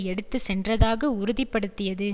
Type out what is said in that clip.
எடுத்து சென்றதாக உறுதி படுத்தியது